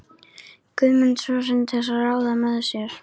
Guðmund son sinn til ráða með sér.